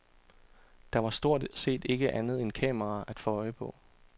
Der var stort set ikke andet end kameraer at få øje på.